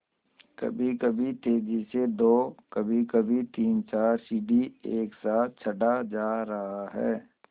कभीकभी तेज़ी से दो कभीकभी तीनचार सीढ़ी एक साथ चढ़ा जा रहा है